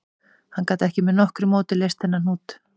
Hann gat ekki með nokkru móti leyst þennan hnút